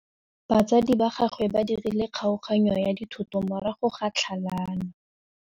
Batsadi ba gagwe ba dirile kgaoganyô ya dithoto morago ga tlhalanô.